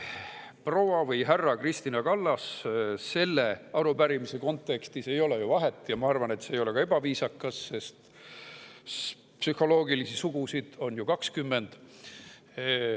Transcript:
Proua või härra Kristina Kallas – selle arupärimise kontekstis ei ole ju vahet ja ma arvan, et see ei ole ka ebaviisakas, sest psühholoogilisi sugusid on ju 20.